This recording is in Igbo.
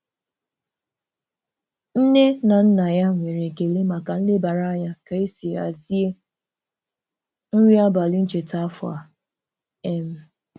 Nne na nna ya nwere ekele maka nlebara anya ka esi hazie nri abalị ncheta afọ a. um